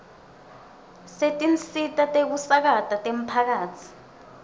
setinsita tekusakata temphakatsi